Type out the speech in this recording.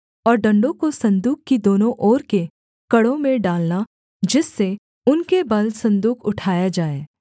और डण्डों को सन्दूक की दोनों ओर के कड़ों में डालना जिससे उनके बल सन्दूक उठाया जाए